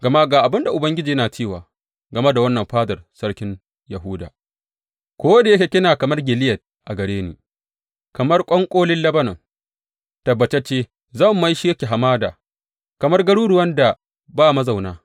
Gama ga abin da Ubangiji yana cewa game da wannan fadar sarkin Yahuda, Ko da yake kina kamar Gileyad a gare ni, kamar ƙwanƙolin Lebanon, tabbatacce zan maishe ki hamada, kamar garuruwan da ba mazauna.